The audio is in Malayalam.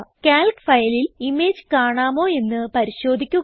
കാൽക്ക് ഫയലിൽ ഇമേജ് കാണാമോ എന്ന് പരിശോധിക്കുക